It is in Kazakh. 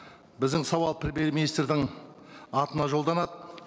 біздің сауал министрдің атына жолданады